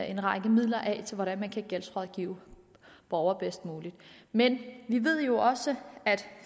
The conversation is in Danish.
en række midler af til hvordan man kan gældsrådgive borgere bedst muligt men vi ved jo også at